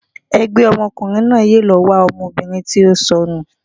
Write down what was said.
ẹgbẹ ọmọkùnrin náà yóò lọ wa ọmọbìnrin ti o sọnu